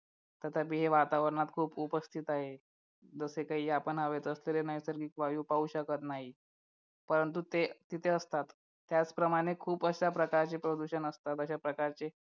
वातावरणात खूप उपस्थित आहे जसे काही आपण हवेत असलेले वायू पाहू शकत नाही परंतु ते तिथे असतात त्याचप्रमाणे खूप कशा प्रकारचे प्रदूषण असतात अशा प्रकारचे